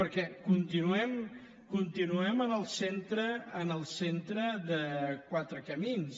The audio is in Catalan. perquè continuem en el centre en el centre de quatre camins